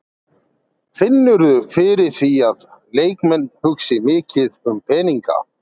Finnurðu fyrir því að leikmenn hugsi mikið um peninga?